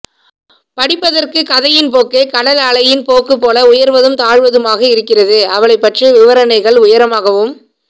படிப்பதற்கு கதையின் போக்கு கடல் அலையின் போக்குபோ உயர்வதும் தாழ்வதுமாக இருக்கிறது அவளைப் பற்றிய விவரணைகள் உயரமாகவும்